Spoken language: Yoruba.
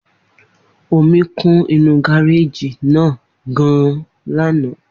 Omi kún inú gareji náà gan-an lana.